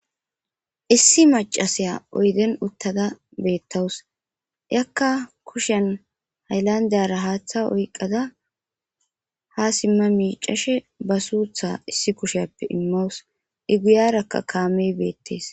issi macasiya oyden uttada beettawus yakka kushen hayllandiyara haaththa oyqada ha simma miicashe ba suutha issi kushappe immawus iiguyarakka kaamey beettees